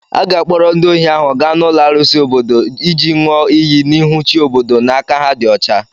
A ga-akpọrọ ndị ohi ahụ gaa n'ụlọ arụsị obodo iji ṅụọ iyi n'ihu chi obodo na aka ha dị ọcha.